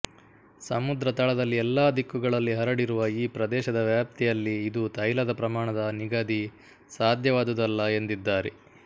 ಸಮುದ್ರ ತಳದಲ್ಲಿ ಎಲ್ಲಾ ದಿಕ್ಕುಗಳಲ್ಲಿ ಹರಡಿರುವ ಈ ಪ್ರದೇಶದ ವ್ಯಾಪ್ತಿಯಲ್ಲಿ ಇದು ತೈಲದ ಪ್ರಮಾಣದ ನಿಗದಿ ಸಾಧ್ಯವಾದುದಲ್ಲ ಎಂದಿದ್ದಾರೆ